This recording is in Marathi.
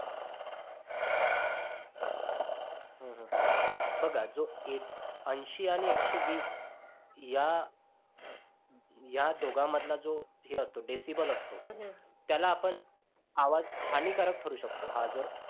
बघा जो ऐंशी आणि एकशे वीस या या या दोघांमधला जो हे decibal असतो हम्म हम्म त्याला आपण आवाज हानिकारक ठरू शकतो. हा जर